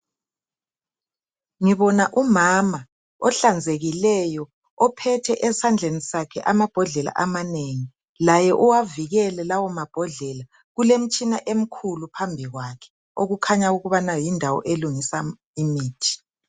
Ngibona umama ohlanzekileyo ophethe esandleni sakhe amabhodlela amanengi. Laye uwavikele lawo mabhodlela kulemitshina emikhulu phambi kwakhe okukhanya ukubana yindawo elungisa imithi.